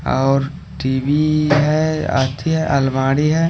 और टी_वी है आती है अलमारी है।